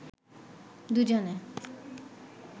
দুজনে